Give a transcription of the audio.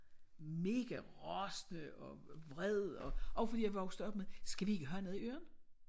Mega rasende og vred og også fordi jeg er vokset op med skal vi ikke have noget i ørerne?